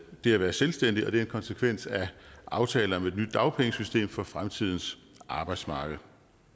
det at være selvstændig og det er en konsekvens af aftale om et nyt dagpengesystem for fremtidens arbejdsmarked